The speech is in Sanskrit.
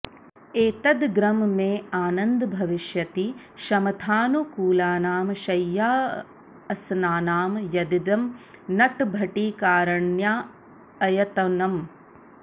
एतदग्रं मे आनन्द भविष्यति शमथानुकूलानां शय्याऽसनानां यदिदं नटभटिकारण्याऽयतनं